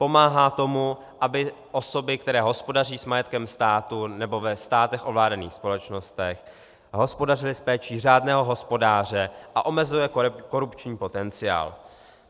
Pomáhá tomu, aby osoby, které hospodaří s majetkem státu nebo ve státech ovládaných společnostech, hospodařily s péčí řádného hospodáře, a omezuje korupční potenciál.